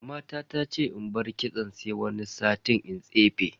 Mama ta ce in bar kitson sai wani sati in tsefe.